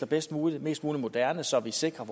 bedst muligt og mest moderne så vi sikrer